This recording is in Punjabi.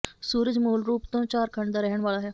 ਸੂਰਜ ਮੂਲ ਰੂਪ ਤੋਂ ਝਾਰਖੰਡ ਦਾ ਰਹਿਣ ਵਾਲਾ ਹੈ